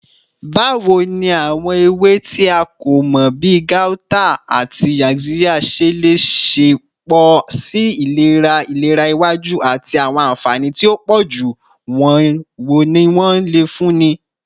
Bawo ni awọn ewe ti a ko mọ bi gauta ati yaxiya ṣe le ṣepọ si ilera ilera iwaju, ati awọn anfani ti o pọju wo ni wọn le funni?